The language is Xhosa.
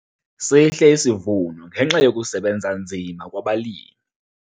Sihle isivuno ngenxa yokusebenza nzima kwabalimi.